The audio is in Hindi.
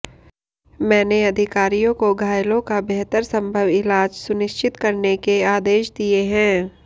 मैंने अधिकारियों को घायलों का बेहतर संभव इलाज सुनिश्चित करने के आदेश दिए हैं